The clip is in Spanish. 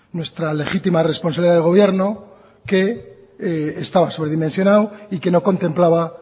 nuestra legítima responsabilidad de gobierno que estaba sobredimensionado y que no contemplaba